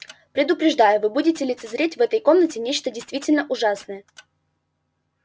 предупреждаю вы будете лицезреть в этой комнате нечто действительно ужасное